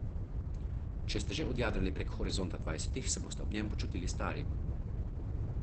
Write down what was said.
Če ste že odjadrali prek horizonta dvajsetih, se boste ob njem počutili stari.